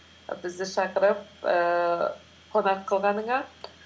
і бізді шақырып ііі қонақ қылғаныңа